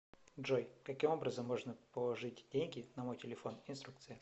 джой каким образом можно положить деньги на мой телефон инструкция